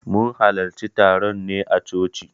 Mun hallarci taron ne a coci.